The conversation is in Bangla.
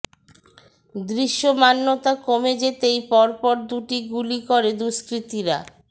দৃশ্যমানতা কমে যেতেই পর পর দুটি গুলি করে দুষ্কৃতীরা